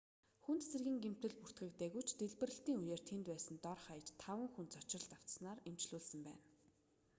хүнд зэргийн гэмтэл бүртгэгдээгүй ч дэлбэрэлтийн үеэр тэнд байсан дор хаяж таван хүн цочролд автсанаар эмчлүүлсэн байна